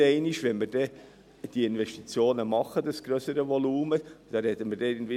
Wenn wir diese Investitionen tätigen, wird es sich um ein grösseres Volumen handeln.